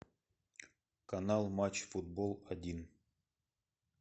канал матч футбол один